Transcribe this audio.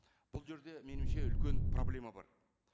бұл жерде меніңше үлкен проблема бар